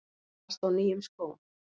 Þú varst á nýjum skóm.